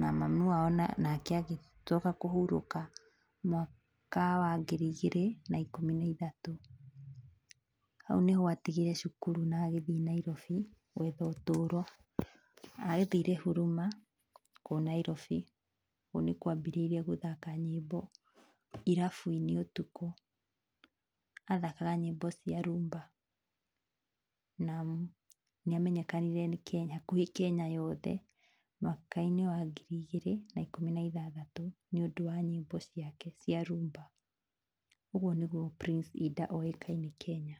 na mamu wao nake agĩcoka kũhurũka mwaka wa ngiri igĩrĩ na ikũmi na ithatũ, hau nĩho atigĩire cukuru na agĩthiĩ Nairobi gwetha ũtũũro, athire Huruma kũu Nairobi, kũu nĩkuo ambĩrĩirie gũthaka nyĩmbo, irabu-inĩ ũtukũ, athakaga nyĩmbo cia Rhumba na nĩ amenyekanire nĩ Kenya, gwĩ Kenya yothe mwaka wa ngiri igĩrĩ na ikũmi na ithathatũ, nĩ ũndũ wa nyĩmbo ciake cia Rhumba ũguo nĩguo Prince Inda oĩkaine Kenya.